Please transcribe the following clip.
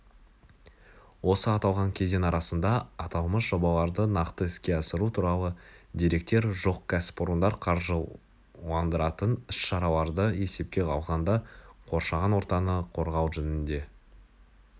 осы аталған кезең арасында аталмыш жобаларды нақты іске асыру туралы деректер жоқ кәсіпорындар қаржыландыратын іс-шараларды есепке алғанда қоршаған ортаны қорғау жөнінде